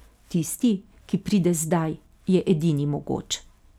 Tisti, ki pride zdaj, je edini mogoč.